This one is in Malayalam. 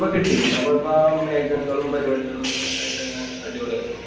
പ്പൊ കിട്ടി. പിന്നെ പോയപ്പൊ ആ മേഘങ്ങളും പരിപാടികളും ഒക്കെ ആയിട്ടങ്ങനെ അടിപൊളി ആയിരുന്നു.